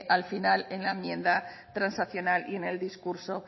en la enmienda transaccional y en el discurso